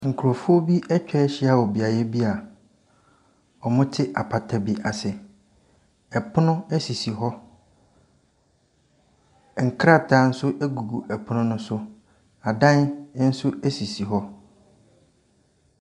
Nkrɔfoɔ bi atwa hyia wɔ beaeɛ bi wɔte apata bi ase. Ɛpono sisi hɔ. Nkrataa nso gugu ɛpono no so. Adan nso sisi hɔ.